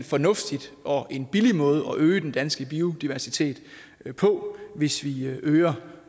fornuftigt og en billig måde at øge den danske biodiversitet på hvis vi øger